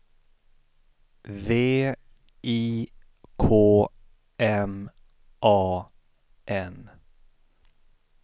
V I K M A N